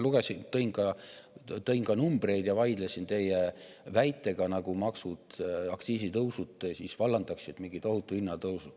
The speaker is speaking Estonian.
Ma tõin ka numbreid ja teie väite, nagu maksud või aktsiisitõusud vallandaksid mingi tohutu hinnatõusu.